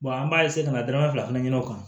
an b'a ka na danaya fila fana ɲini o kan